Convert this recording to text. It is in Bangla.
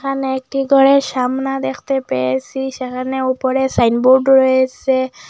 এখানে একটি ঘরের সামনা দেখতে পেয়েসি সেখানে উপরে সাইনবোর্ড রয়েসে।